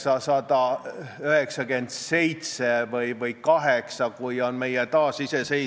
Praegu on minu lemmiklinna Kohtla-Järve lastepäevakodudes 97 gruppi ja ainult 43-s – toonitan, 43-s ehk siis pooltes – on võimalik õpetada lastele eesti keelt.